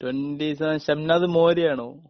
Twenty seven Shamnad മോരി ആണോ?